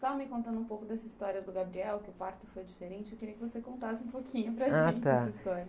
Só me contando um pouco dessa história do Gabriel, que o parto foi diferente, eu queria que você contasse um pouquinho para gente essa história.h, tá!